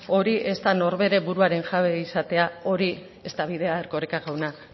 hori ez da norbere buruaren jabe izatea hori ez da bidea erkoreka jauna